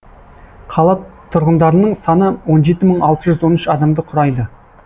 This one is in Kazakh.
қала тұрғындарының саны он жеті мың алты жүз он үш адамды құрайды